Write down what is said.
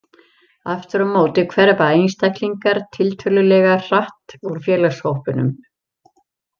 Aftur á móti hverfa einstaklingar tiltölulega hratt úr félagshópunum.